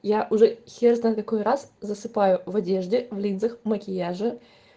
я уже хер знает какой раз засыпаю в одежде в линзах макияже